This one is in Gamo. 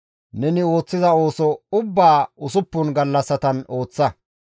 Neni ooththiza ooso ubbaa usuppun gallassatan ooththa.